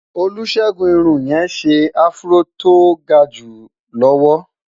olusegun irún yé sè afro tó gaju lọwọ